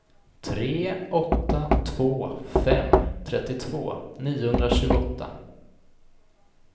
tre åtta två fem trettiotvå niohundratjugoåtta